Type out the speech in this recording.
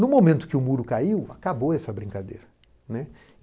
No momento que o muro caiu, acabou essa brincadeira.